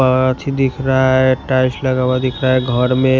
कांच दिख रहा है टाइल्स लगा हुआ दिख रहा है घर में--